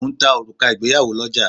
Mo ń ta òrùka ìgbéyàwó lọ́ja